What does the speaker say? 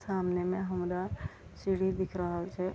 सामने में हमरा सीढ़ी दिख रहल छै।